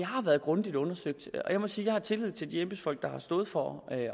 har været grundigt undersøgt og jeg må sige at jeg har tillid til de embedsfolk der har stået for at